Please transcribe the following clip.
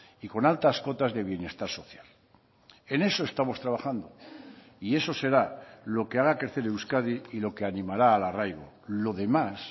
y con altas cuotas de bienestar social en eso estamos trabajando y eso será lo que haga crecer euskadi y lo que animará al arraigo lo demás